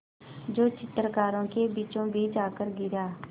जो चित्रकारों के बीचोंबीच आकर गिरा